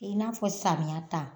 I n'a fɔ samiya ta